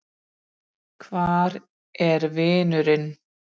Hvar er vinurinn?